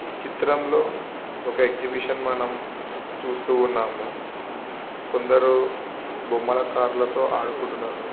ఈ చిత్రంలో ఒక ఎక్సిబిషన్ ను మనం చూస్తూ ఉన్నాము. కొందరు బొమ్మల కార్ లతో ఆడుకుంటున్నారు.